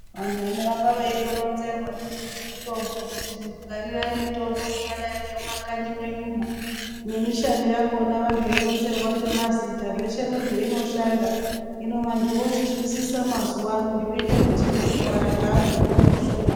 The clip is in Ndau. Vantu vanorambe ronzwerwa ndizvo ngezve mitombo kutingwarirayi mumakanyi menyu nemishando yachona ,beyironzerwa ngemazita zvese nezvayinoshanda. Hino vantu vozvinzwisisa mazuva ano zvoite kuti nekurwara kweantu kuite kushoma.